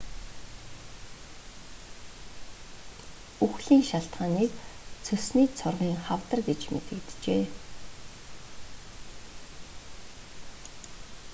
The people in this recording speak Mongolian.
үхлийн шалтгааныг цөсний цоргын хавдар гэж мэдэгджээ